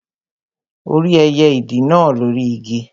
Ó rí ẹyẹ ìdì náà lóri Igi